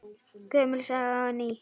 Gömul saga og ný.